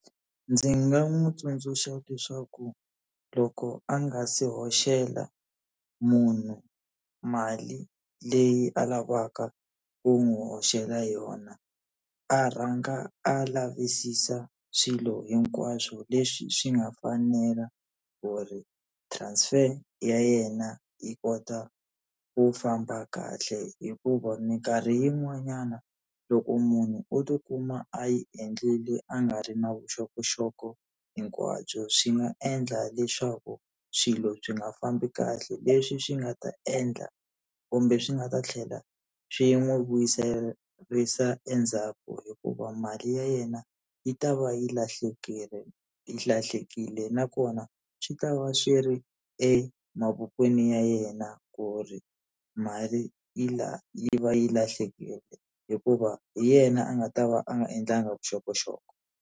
Ndzi nga n'wi tsundzuxa leswaku loko a nga si hoxela munhu mali leyi a lavaka ku n'wi hoxela yona, a rhanga a lavisisa swilo hinkwaswo leswi swi nga fanela ku ri transfer ya yena yi kota ku famba kahle hikuva minkarhi yin'wanyana loko munhu o tikuma a yi endlile a nga ri na vuxokoxoko hinkwabyo swi nga endla leswaku swilo byi nga fambi kahle, leswi swi nga ta endla kumbe swi nga ta tlhela swi n'wi vuyiserisa endzhaku hikuva mali ya yena yi ta va yi yi lahlekile nakona swi ta va xi ri emavokweni ya yena ku ri mali yi yi va yi lahlekile hikuva hi yena a nga ta va a nga endlangi vuxokoxoko.